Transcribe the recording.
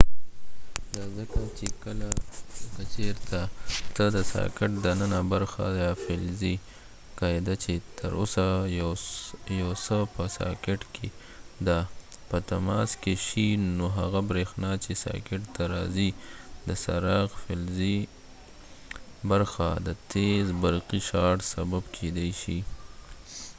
دا ځکه چې که چېرته ته د ساکټ دننه برخه یا فلزی قاعده چې تر اوسه یو څه په ساکټ کې ده په تماس کې شي نو هغه بریښنا چې ساکټ ته راځي د څراغ فلزی برخه د تیز برقی شارټ سبب کېدای شي